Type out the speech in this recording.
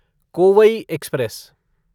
Kovai express